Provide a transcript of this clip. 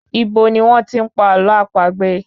Ibo ní wọ́n tí n pa àlọ́ àpagbè?